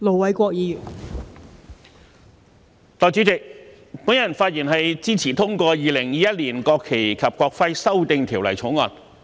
代理主席，本人發言支持通過《2021年國旗及國徽條例草案》。